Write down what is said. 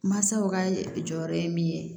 Mansaw ka jɔyɔrɔ ye min ye